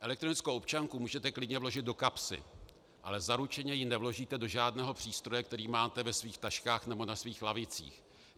Elektronickou občanku můžete klidně vložit do kapsy, ale zaručeně ji nevložíte do žádného přístroje, který máte ve svých taškách nebo na svých lavicích.